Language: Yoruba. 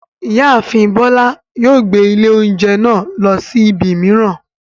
Ìyáàfin Bọ́lá yóò gbé ilé oúnjẹ náà lọ sí ibi mìíràn.